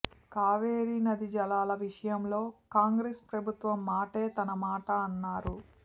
కావేరి నదీ జలాల విషయంలో కాంగ్రెస్ ప్రభుత్వం మాటే తన మాట అన్నారు